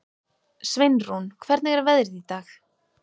Sveinrún, hvernig er veðrið í dag?